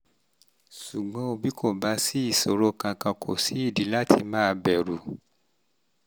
ṣùgbọ́n bí kò bá sí ìṣòro kankan kò sídìí láti máa bẹ̀rù